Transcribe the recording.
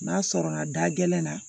N'a sɔrɔ la da gɛlɛn na